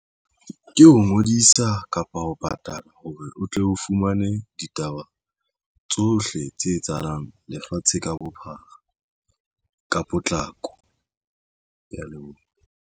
Ke ho ngodisa kapa ho patala hore o tle o fumane ditaba tsohle tse etsahalang lefatshe ka bophara ka potlako. Ke ya leboha.